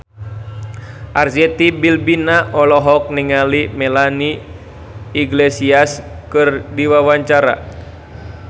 Arzetti Bilbina olohok ningali Melanie Iglesias keur diwawancara